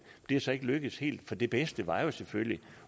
er så ikke lykkedes helt for det bedste var jo selvfølgelig